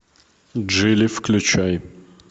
джили включай